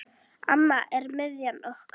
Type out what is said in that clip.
Amma er miðjan okkar.